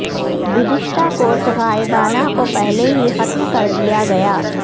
گزشتہ کورس غائبانہ کو پہلے ہی ختم کر دیا گیا